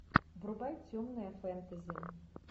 врубай темное фэнтези